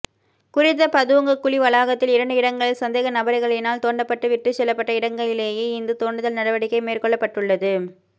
குறித்த பதுங்கு குழி வளாகத்தில் இரண்டு இடங்களில் சந்தேக நபரிகளினால் தோண்டப்பட்டு விட்டுச்செல்லப்பட்ட இடங்களிலையே இந்த தோண்டுதல் நடவடிக்கை மேற்கொள்ளப்பட்டுள்ளது